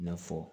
I n'a fɔ